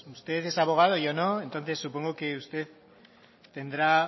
usted es abogado yo no entonces supongo que usted tendrá